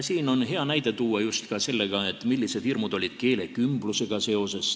Siin on hea näide tuua ka selle kohta, millised hirmud olid keelekümblusega seoses.